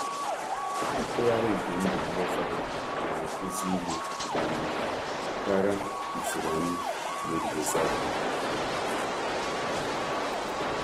Nkwụsị ndụ nke ndụ mgbe ụfọdụ na-akụzie karịa usoro anyị na-ejigidesi ike.